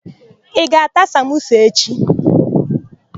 Ị ga-ata samosa echi?